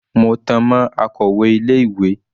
Mo tan mọ́ akọ̀wẹ́ ilé ìwé.